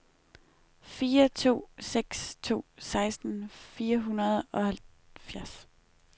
fire to seks to seksten fire hundrede og halvfjerds